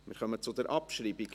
Wir kommen zur Abschreibung.